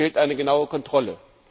Und uns fehlt eine genaue Kontrolle.